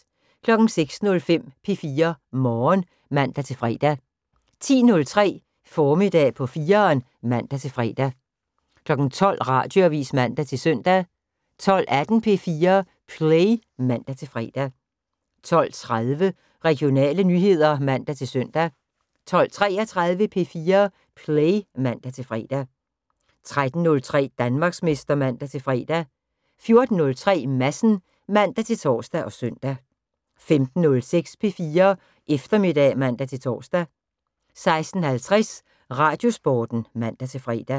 06:05: P4 Morgen (man-fre) 10:03: Formiddag på 4'eren (man-fre) 12:00: Radioavis (man-søn) 12:18: P4 Play (man-fre) 12:30: Regionale nyheder (man-søn) 12:33: P4 Play (man-fre) 13:03: Danmarksmester (man-fre) 14:03: Madsen (man-tor og søn) 15:06: P4 Eftermiddag (man-tor) 16:50: Radiosporten (man-fre)